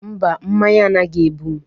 Mba, mmanya anaghị egbu m.